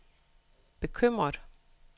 bekymret